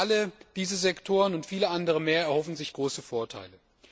Alle diese Sektoren und viele andere mehr erhoffen sich große Vorteile.